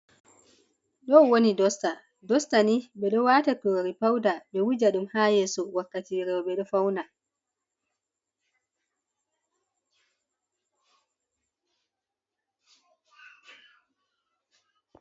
Ɗon woni dosta, dosta ni ɓeɗo wata kurori pauda ɓewuja ɗum hayeso wakkati roɓe ɗo fauna.